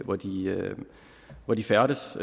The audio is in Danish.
hvor de hvor de færdes